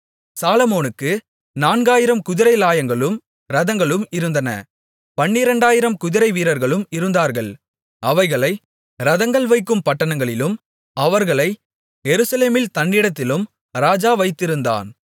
சாலொமோனுக்கு நான்காயிரம் குதிரைலாயங்களும் இரதங்களும் இருந்தன பனிரெண்டாயிரம் குதிரை வீரர்களும் இருந்தார்கள் அவைகளை இரதங்கள் வைக்கும் பட்டணங்களிலும் அவர்களை எருசலேமில் தன்னிடத்திலும் ராஜா வைத்திருந்தான்